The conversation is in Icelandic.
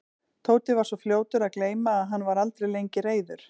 Tóti var svo fljótur að gleyma og hann var aldrei lengi reiður.